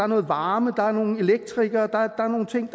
noget varme der er nogle elektrikere der er nogle ting